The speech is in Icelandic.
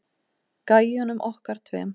Gæjunum okkar tveim.